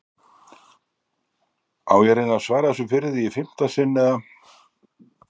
Á ég að reyna að svara þessu fyrir þig í fimmta sinn, eða?